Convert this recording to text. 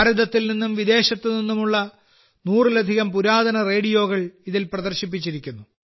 ഭാരതത്തിൽ നിന്നും വിദേശത്തു നിന്നുമുള്ള നൂറിലധികം പുരാതന റേഡിയോകൾ ഇതിൽ പ്രദർശിപ്പിച്ചിരിക്കുന്നു